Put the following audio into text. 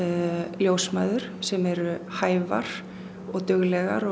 ljósmæður sem eru hæfar og duglegar og